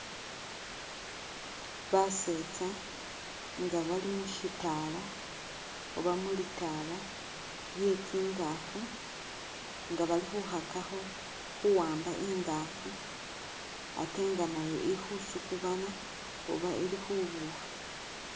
Basetsa nga bali mushitala oba mulitala lye tsingafu nga bali khukhakakho khuwamba ingafu atenga nayo ikhusukubana oba ili khubukha.